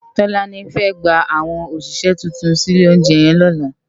Tolani fè gbá áwòn óṣiṣè tútún si ilé óunjè yèn lòlá